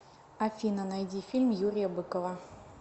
афина найди фильм юрия быкова